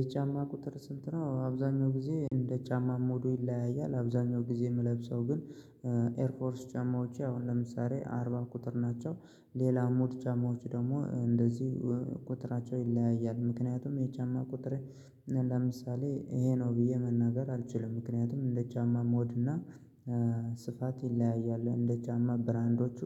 የጫማ ቁጥር ስንት ነው አብዛኛውን ጊዜ እንደ ጫማ ሞዱ ይለያያል አብዛኛው ጊዜ የምለብሰው ግን ኤርፎርስ ጫማዎች አሁን ለምሳሌ አርባ ቁጥር ናቸው። ሌላ ሞድ ጫማዎች ደግሞ እንደዚህ ቁጥራቸው ይለያያል ምክንያቱም የጫማ ቁጥር ለምሳሌ ይሄ ነው ብዬ መናገር አልችልም ምክንያቱም እንደ ጫማ ሞድ እና ስፋት ይለያያሉ እንደ ጫማ ብራንዶቹ